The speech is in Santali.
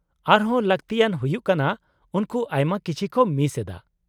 -ᱟᱨ ᱦᱚᱸ ᱞᱟᱹᱠᱛᱤᱭᱟᱱ ᱦᱩᱭᱩᱜ ᱠᱟᱱᱟ, ᱩᱱᱠᱩ ᱟᱭᱢᱟ ᱠᱤᱪᱷᱤ ᱠᱚ ᱢᱤᱥ ᱮᱫᱟ ᱾